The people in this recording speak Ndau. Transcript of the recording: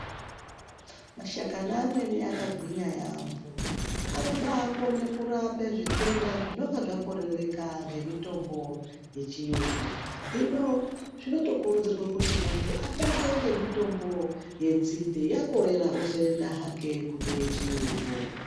Mashakani amweni akagwinya yaamho anobakone kurape zvitenda zvinonga zvakorereka ngemitombo yechiyungu hino zvinotokurudzirwe kuti muntu atange ngemitombo yenzindebyakorera ozoenda hake kune yechiyungu.